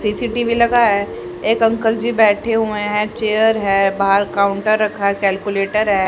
CCTV लगा है एक अंकल जी बैठे हुए हैं चेयर है बाहर काउंटर रखा कैलकुलेटर है।